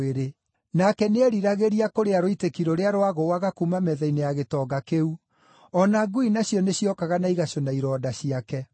nake nĩeeriragĩria kũrĩa rũitĩki rũrĩa rwagũũaga kuuma metha-inĩ ya gĩtonga kĩu. O na ngui nacio nĩciokaga na igacũna ironda ciake.